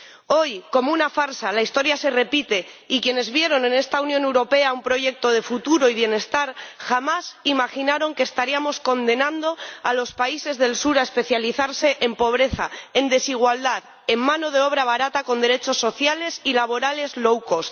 Hoy, como una farsa, la historia se repite y quienes vieron en esta Unión Europea un proyecto de futuro y bienestar jamás imaginaron que estaríamos condenando a los países del Sur a especializarse en pobreza, en desigualdad, en mano de obra barata, con derechos sociales y laborales low cost